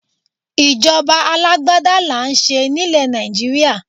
Ìjọba alágbádá là ń ṣe nílẹ̀ Nàìjíríà.